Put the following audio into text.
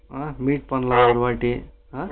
ஆஹ meet பண்ணலாம் இனிமேட்டு